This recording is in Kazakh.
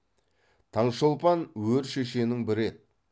таңшолпан өр шешенің бірі еді